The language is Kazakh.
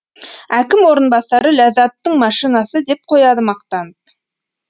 әкім орынбасары ләззаттың машинасы деп қояды мақтанып